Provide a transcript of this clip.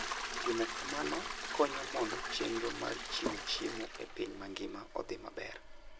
Timo kamano konyo mondo chenro mar chiwo chiemo e piny mangima odhi maber.